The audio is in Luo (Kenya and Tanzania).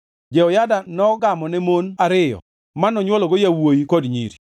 Jehoyada nogamone mon ariyo manonywologo yawuowi kod nyiri.